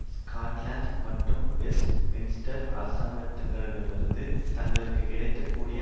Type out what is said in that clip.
Scotland மற்றும் Westminster அரசாங்கங்களிடமிருந்து தங்களுக்கு கிடைக்க கூடிய